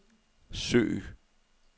søg